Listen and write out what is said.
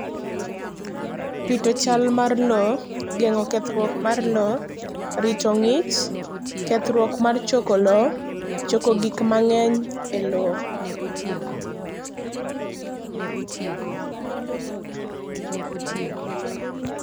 chal mar lowo, geng'o kethrwuok mar lowo, rito ng'ich, kethrwuok mar choko lowo, choko gik mang'eny e lowo.